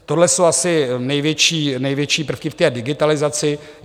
Tohle jsou asi největší prvky v té digitalizaci.